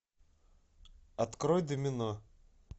открой домино